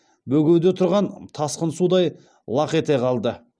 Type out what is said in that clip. бөгеуде тұрған тасқын судай лақ ете қалды